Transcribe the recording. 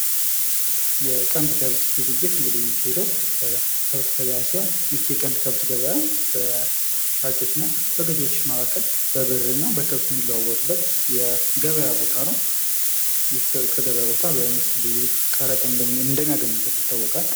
የቀንድ ከብት ግብይት እንግዲህ የሚካሄደው በከብት ገበያ ሲሆን። ይህ የቀንድ ገበያ በሻጮች እና በገዥዎች መካከል በብር እና በከብት የሚለዋወጡበት የገበያ ቦታ ነው። ይህ ከገበያ ቦታ መንግስት ብዙ ቀረጥ እንደሚያገኝበት ይታወቃል።